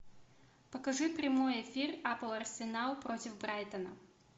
покажи прямой эфир апл арсенал против брайтона